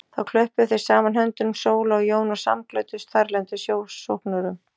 Þá klöppuðu þau saman höndunum Sóla og Jón og samglöddust þarlendum sjósóknurum.